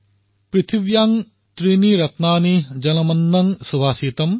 পৃথিৱ্যাঃ ত্ৰীণি ৰত্নানি জলমন্ত্ৰ সুভাষিতম